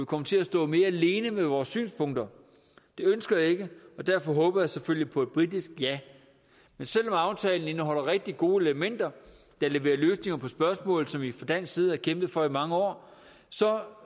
kommer til at stå mere alene med vores synspunkter det ønsker jeg ikke og derfor håber jeg selvfølgelig på et britisk ja men selv om aftalen indeholder rigtig gode elementer der leverer løsninger på spørgsmål som vi fra dansk side har kæmpet for i mange år så